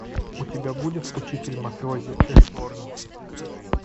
у тебя будет учитель мафиози реборн